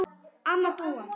Amma Dúa.